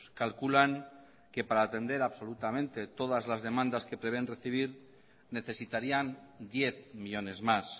calculan que para atender absolutamente todas las demandas que prevén recibir necesitarían diez millónes más